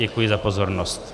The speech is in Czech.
Děkuji za pozornost.